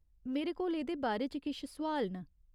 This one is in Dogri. मेरे कोल एह्‌‌‌दे बारे च किश सोआल न।